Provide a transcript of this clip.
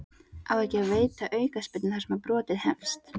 Á ekki að veita aukaspyrnu þar sem brotið hefst?